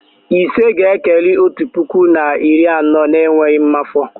Ise ga-ekeli otu puku na iri anọ n'enweghị mmafọ